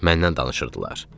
Məndən danışırdılar.